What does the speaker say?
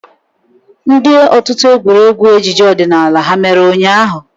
Ndị otu egwuregwu ejije odinala ha mere ụnyahụ?